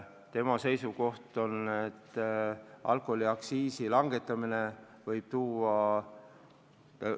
Tema seisukoht oli, et alkoholiaktsiisi langetamine võib tuua halbu tagajärgi.